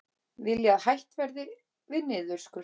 Vilja að hætt verði við niðurskurð